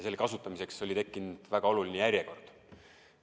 Nende kasutamiseks oli tekkinud väga oluline järjekord.